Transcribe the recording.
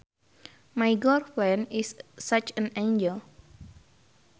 My girlfriend is such an angel